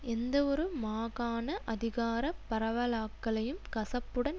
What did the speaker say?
எந்தவொரு மாகாண அதிகார பரவலாக்களையும் கசப்புடன்